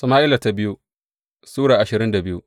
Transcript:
biyu Sama’ila Sura ashirin da biyu